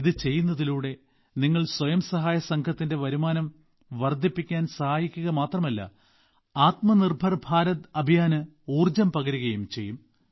ഇത് ചെയ്യുന്നതിലൂടെ നിങ്ങൾ സ്വയം സഹായസംഘത്തിന്റെ വരുമാനം വർധിപ്പിക്കാൻ സഹായിക്കുക മാത്രമല്ല ആത്മനിർഭർ ഭാരത് അഭിയാൻ ഊർജ്ജം പകരുകയും ചെയ്യും